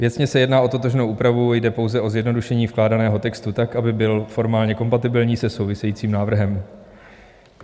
Věcně se jedná o totožnou úpravu, jde pouze o zjednodušení vkládaného textu tak, aby byl formálně kompatibilní se souvisejícím návrhem.